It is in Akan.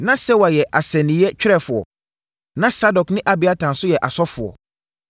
Na Sewa yɛ asɛnniiɛ twerɛfoɔ. Na Sadok ne Abiatar nso yɛ asɔfoɔ.